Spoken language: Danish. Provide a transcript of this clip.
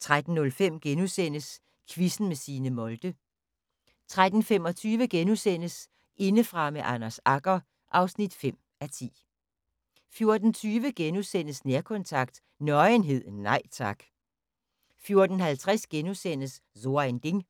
* 13:05: Quizzen med Signe Molde * 13:35: Indefra med Anders Agger (5:10)* 14:20: Nærkontakt – Nøgenhed, nej tak * 14:50: So ein Ding *